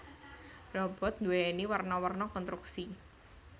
Robot nduwèni werna werna konstruksi